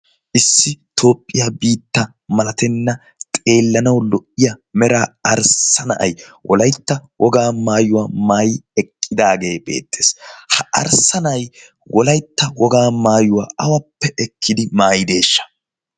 issi toophphiyaa biitta malatenna xeellanau lo77iya mera arssa na7ai wolaitta wogaa maayuwaa maayi eqqidaagee beettees ha arssa na7ai wolaitta wogaa maayuwaa awappe ekkidi maayideeshsha